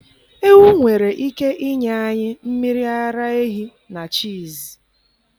Ewu nwere ike inye anyị mmiri ara ehi na cheese.